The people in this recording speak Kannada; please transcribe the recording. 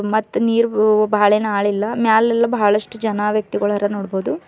ಮತ್ತ ನೀರ್ ಬಾಳ ಏನ್ ಆಳ ಇಲ್ಲ ಮ್ಯಾಲೆಲ್ಲ ಬಹಳಷ್ಟು ಜನ ವ್ಯಕ್ತಿಗಳ್ನ ನೋಡ್ಬಹುದು.